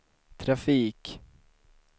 trafik